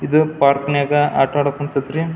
ಇದು ಪಾರ್ಕ್ ನಾಗ್ ಆಟ ಆಡ ಕುಂತತ್ ರಿ.